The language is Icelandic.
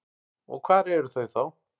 Og hver eru þau þá?